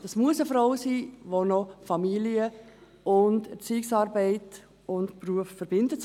Das muss eine Frau sein, die Familien- und Erziehungsarbeit sowie Beruf verbindet.